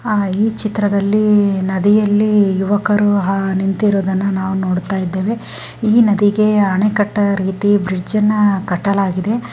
ಆ ಈ ಚಿತ್ರದಲ್ಲಿ ನದಿಯಲ್ಲಿ ಯುವಕರು ನಿತಿರೋದನ್ನನ ನಾವ್ ನೋಡ್ತಾ ಇದ್ದೇವೆ ಈ ನದಿಗೆ ಅಣೆಕಟ್ಟೆ ರೀತಿ ಬ್ರಿಜ್ ಕಾಟಲಾಗಿದೆ